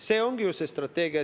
See ongi ju see strateegia.